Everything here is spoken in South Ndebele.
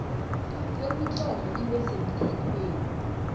kwemitlolo ibe semthethweni